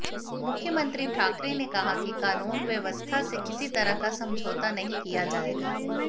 मुख्यमंत्री ठाकरे ने कहा कि कानून व्यवस्था से किसी तरह का समझौता नहीं किया जाएगा